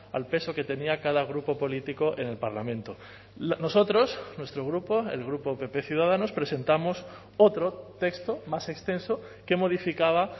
al peso que tenía cada grupo político en el parlamento nosotros nuestro grupo el grupo pp ciudadanos presentamos otro texto más extenso que modificaba